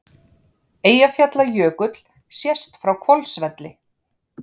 Eyjafjallajökull sést frá Hvolsvelli.